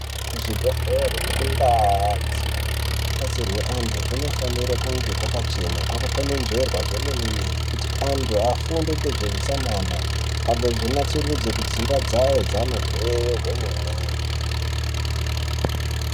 Ku zvi bhedhlere neku ndau dzino batsirwe antu kunofanire kunge kwaka chena kwaka kwenenzverwa zve mene mene kuti antu afunde ngezve utsanana agozo natsurudze kudzimba dzavo dzavanobveyo kwe mene.